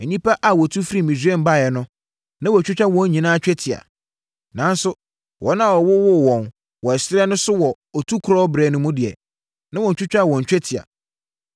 Nnipa a wɔtu firii Misraim baeɛ no, na wɔatwitwa wɔn nyinaa twetia. Nanso wɔn a wɔwowoo wɔn wɔ ɛserɛ no so wɔ Otukorɔ berɛ no mu no deɛ, na wɔntwitwaa wɔn twetia.